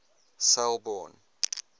selborne